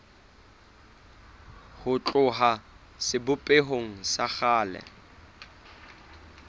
ho tloha sebopehong sa kgale